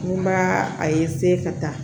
N b'a a ka taa